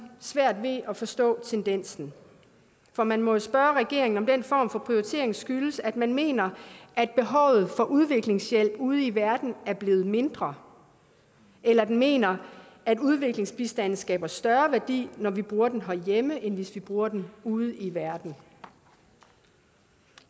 svært ved at forstå tendensen for man må jo spørge regeringen om den form for prioritering skyldes at den mener at behovet for udviklingshjælp ude i verden er blevet mindre eller den mener at udviklingsbistanden skaber større værdi når vi bruger den herhjemme end hvis vi bruger den ude i verden